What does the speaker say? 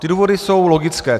Ty důvody jsou logické.